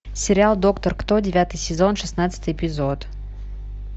сериал доктор кто девятый сезон шестнадцатый эпизод